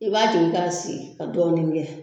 I b'a jigin ka sigi ka dɔɔnin kɛ